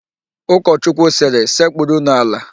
Ụkọchukwu sịrị, "sekpurunu ala"!